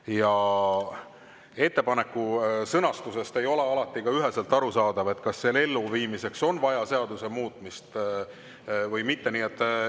Ja ettepaneku sõnastusest ei ole alati ka üheselt aru saada, kas selle elluviimiseks on vaja seaduse muutmist või mitte.